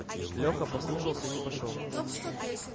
леха послушался и не пошёл